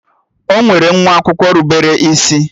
Ọ nwere nwa akwụkwọ rubere isi?